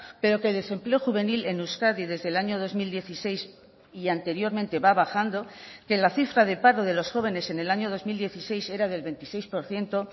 pero que el desempleo juvenil en euskadi desde el año dos mil dieciséis y anteriormente va bajando que la cifra de paro de los jóvenes en el año dos mil dieciséis era del veintiséis por ciento